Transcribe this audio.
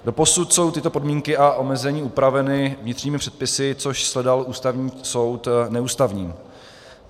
Doposud jsou tyto podmínky a omezení upraveny vnitřními předpisy, což shledal Ústavní soud neústavním.